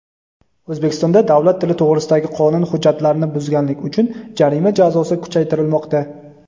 O‘zbekistonda davlat tili to‘g‘risidagi qonun hujjatlarini buzganlik uchun jarima jazosi kuchaytirilmoqda.